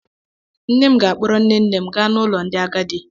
Nne m ga-akpọrọ nne nne m gaa n'ụlọ ndị agadi.